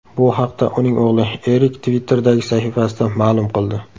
Bu haqda uning o‘g‘li Erik Twitter’dagi sahifasida ma’lum qildi .